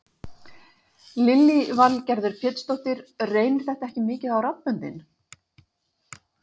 Lillý Valgerður Pétursdóttir: Reynir þetta ekki mikið á raddböndin?